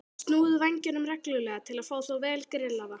Snúið vængjunum reglulega til að fá þá vel grillaða.